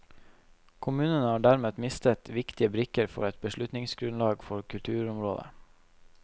Kommunene har dermed mistet viktige brikker for et beslutningsgrunnlag på kulturområdet.